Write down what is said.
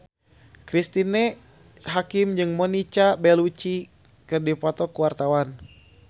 Cristine Hakim jeung Monica Belluci keur dipoto ku wartawan